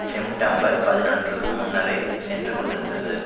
செம்டம்பர்பதினொன்றுக்கு முன்னரே சென்று கொண்டிருந்தது